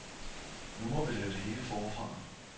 Nu må vi lave det hele forfra.